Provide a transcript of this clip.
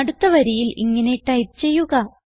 അടുത്ത വരിയിൽ ഇങ്ങനെ ടൈപ്പ് ചെയ്യുക